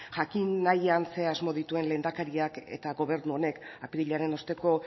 jakin nahian ze asmo dituen lehendakariak eta gobernu honek apirilaren osteko